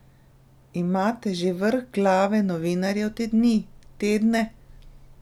Imate že vrh glave novinarjev te dni, tedne?